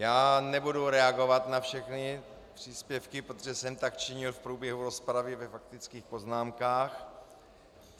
Já nebudu reagovat na všechny příspěvky, protože jsem tak činil v průběhu rozpravy ve faktických poznámkách.